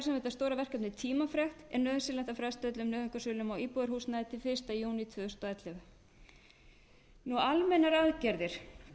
er tímafrekt er nauðsynlegt að fresta öllum nauðungarsölum á íbúðarhúsnæði til fyrsta júní tvö þúsund og ellefu almennar aðgerðir